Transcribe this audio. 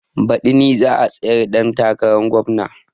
Baɗi ni za a tsayar ɗan takarar gomna